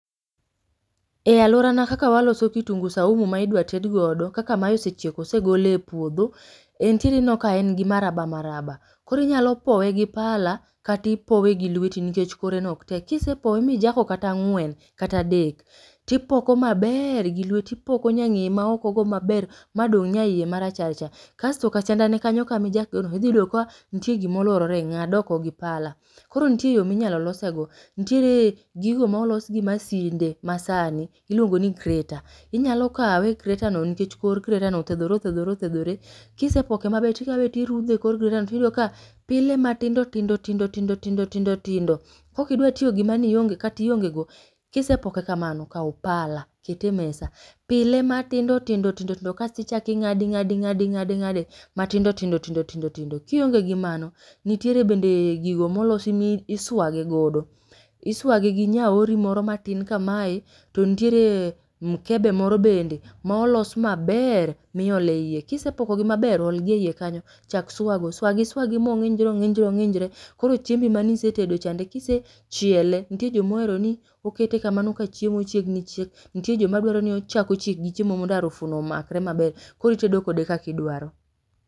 Ealuorana kaka waloso kitungu saumu ma idwa tedgodo kaka ma osechiek osegol e puodho, en ti ka en gi maraba maraba. Koro inyalo powe gi pala kata ipowe gi lweti nikech koreno ok tek. Ka isepowe mijako kata ang'wen kata adek tipoko maber gi lweti ipoko nyang'eye maokogo maber madong' nyaiye marachar cha. Kasto ka siendane kanyo kama ijakego idhi yudo ka nitie gima oluorore, ng'ad oko gi pala. Koro nitie yo ma inyalo losego. Nitiere gigo ,olos gi masinde masani iluongo ni greta, inyalo kawe greta no nikech kor gretano othedhore othedhore othedhore. Ka isepoke maber to ikawe irudhe ekor gretano to iyudo ka pile ma tindo tindo tindo tindo tindo tindo. Ka ok idwa tiyo gi mano kata iongego, ka isepoke kamano, kaw pala ket emesa, pile matindo tindo tindo tindo kasto ichako ing'ade ing'ade ing'ade ing'ade ing'ade matindo tindo tindo kionge gi mano nitiere bende gigo molosi misuage godo. Isuage gi nyaori moro matin kamae to nitiere mukebe bende maolos maber miolo eiye kisepokogi maber, olgi eiye kanyo chak swago , swagi swagi ma ong'injre ong'injre ong'injre koro chiembi mane isetedo chande, ka isechiele nitie joma ohero ni okete ka mano ka chiemo chiegni chiek. Nitie joma dwaro ni ochako chiek gi chiemono mondo arufuno omakre maber koro itedo kode kaka idwaro.